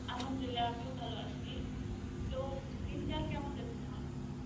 Arbi আমিও ভালো আছি. তো, দিনকাল কেমন আছে তোমার?